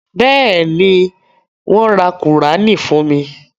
Bẹ́ẹ̀ni, wọ́n ra Kùránì fún mi.